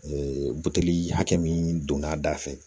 Ee buteli hakɛ min donna da fɛ